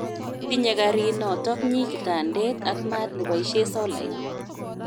Tinye karit notoknyi kitandet ak maat neboishe solait